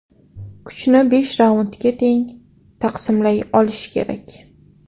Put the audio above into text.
Kuchni besh raundga teng taqsimlay olish kerak.